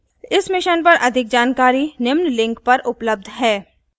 इस mission पर अधिक जानकारी निम्न लिंक पर उपलब्ध है